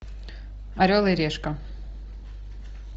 орел и решка